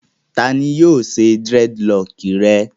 Ta ni yóò ṣe dírẹ́dilọọkì rẹ?